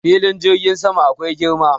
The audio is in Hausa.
Filin jirgin sama akwai girma.